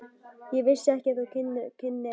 Ég vissi ekki að þú kynnir á gítar.